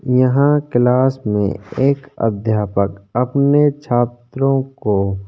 यहाँ क्लास में एक अध्यापक अपने छात्रों को --